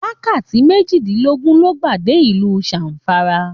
Wákàtí mejidinlogun lo gba dé ìlú Zamfara.